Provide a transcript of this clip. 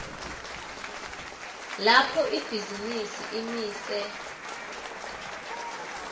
lapho ibhizinisi imise